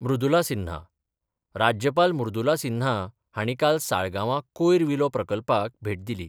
मृदुला सिन्हा राज्यपाल मृदुला सिन्हा हांणी काल साळगांवा कोयर विलो प्रकल्पाक भेट दिली.